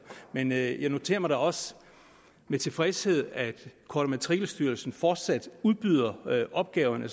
men jeg jeg noterer mig da også med tilfredshed at kort og matrikelstyrelsen fortsat udbyder opgaverne